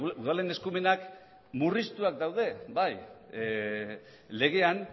udalen eskumenak murriztuak daude bai legean